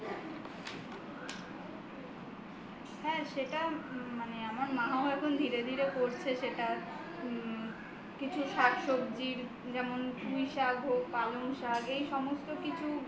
হ্যা সেটা মানে আমার মাও এখন ধীরে ধীরে করছে কিছু শাক-সবজির যেমন পুঁইশাক হোক পালং শাক এই সমস্ত কিছু